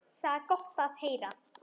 Það er gott að heyra.